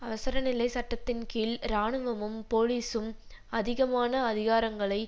அவசரநிலை சட்டத்தின் கீழ் இராணுவமும் போலீஸும் அதிகமான அதிகாரங்களை